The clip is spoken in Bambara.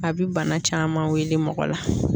A bɛ bana caman weele mɔgɔ la